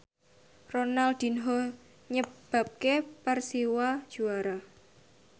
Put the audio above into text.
Ronaldinho nyebabke Persiwa juara